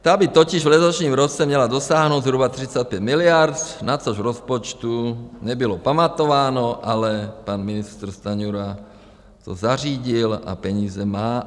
Ta by totiž v letošním roce měla dosáhnout zhruba 35 miliard, na což v rozpočtu nebylo pamatováno, ale pan ministr Stanjura to zařídil a peníze má.